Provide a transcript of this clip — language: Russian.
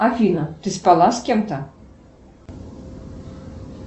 афина ты спала с кем то